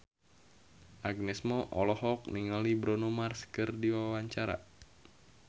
Agnes Mo olohok ningali Bruno Mars keur diwawancara